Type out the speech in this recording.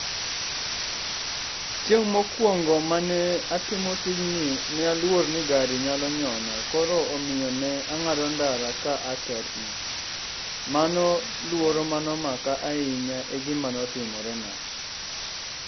Chieng' mokuongo mane atimo tijni ne aluor ni gari nyalo nyona koro omiyo ne ang'ado ndara ka atetni. Mano luoro mane omaka ahinya egima notimorena.